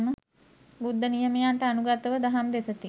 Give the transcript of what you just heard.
බුද්ධ නියමයන්ට අනුගතව දහම් දෙසති.